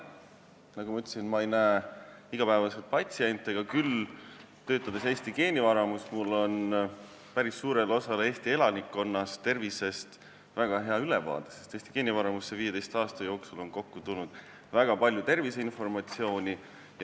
Nagu ma ütlesin, ma ei näe iga päev patsiente, aga töötades Eesti Geenivaramus on mul päris suure osa Eesti elanikkonna tervisest väga hea ülevaade, sest meile on 15 aasta jooksul kokku tulnud hästi palju terviseinformatsiooni.